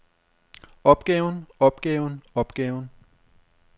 opgaven opgaven opgaven